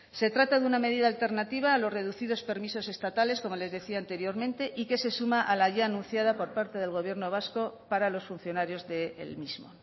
se trata de una medida alternativa a los reducidos permisos estatales como les decía anteriormente y que se suma a la ya anunciada por parte del gobierno vasco para los funcionarios del mismo